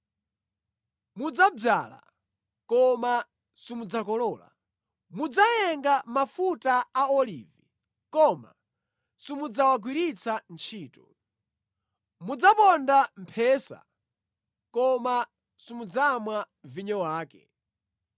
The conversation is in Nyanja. Mudzadzala, koma simudzakolola. Mudzayenga mafuta a olivi, koma simudzawagwiritsa ntchito. Mudzaponda mphesa, koma simudzamwa vinyo wake.